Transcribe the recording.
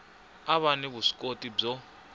a va ni vuswikoti byo